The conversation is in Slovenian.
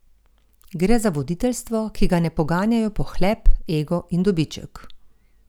Gre za voditeljstvo, ki ga ne poganjajo pohlep, ego in dobiček.